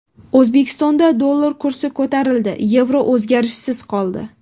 O‘zbekistonda dollar kursi ko‘tarildi, yevro o‘zgarishsiz qoldi.